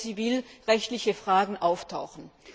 zivilrechtliche Fragen auftauchen?